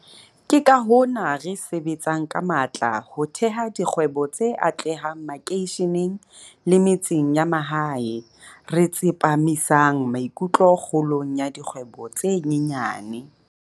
Ke ka hona re sebetsang ka matla ho theha dikgwebo tse atlehang makeisheneng le metseng ya mahae, re tsepa misang maikutlo kgolong ya dikgwebo tse nyenyane.